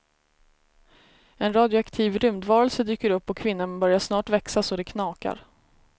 En radioaktiv rymdvarelse dyker upp och kvinnan börjar snart växa så det knakar.